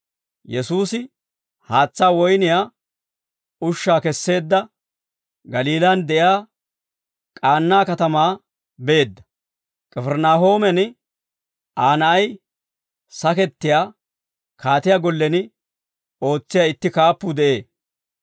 Yesuusi haatsaa woyniyaa ushshaa kesseedda, Galiilaan de'iyaa K'aanaa katamaa beedda. K'ifirinaahooman Aa na'ay sakettiyaa, kaatiyaa gollen ootsiyaa itti kaappuu de'ee.